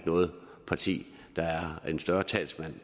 noget parti der er større talsmand